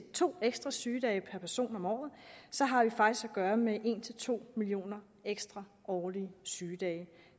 to ekstra sygedage per person om året så har vi faktisk at gøre med en to million ekstra årlige sygedage